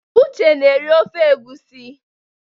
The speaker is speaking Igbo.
Uche na-eri ofe egwusi.